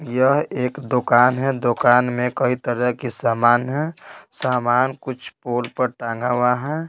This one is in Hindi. यह एक दुकान है दुकान में कई तरह के सामान है सामान कुछ पोल पर टांगा हुआ है।